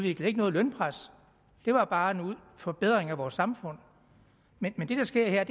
ikke noget lønpres det var bare en forbedring af vores samfund men det der sker her er